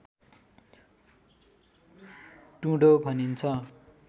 टुँडो भनिन्छ